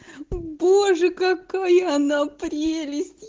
боже какая она прелесть